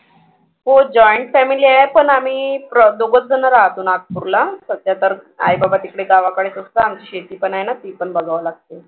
हो joint family आहे पण आम्ही दोघचं जणं राहतो नागपूरला सध्या तर आईबाबा तिकडे गावाकडे असतात. आमची शेती पण आहे ना ती पण बघावं लागतं.